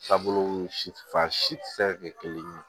Taabolo si fan si fɛ kelen ye